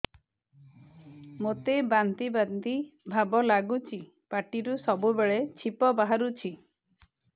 ମୋତେ ବାନ୍ତି ବାନ୍ତି ଭାବ ଲାଗୁଚି ପାଟିରୁ ସବୁ ବେଳେ ଛିପ ବାହାରୁଛି